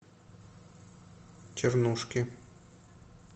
чернушки